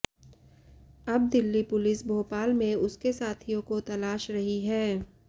अब दिल्ली पुलिस भोपाल में उसके साथियों को तलाश रही है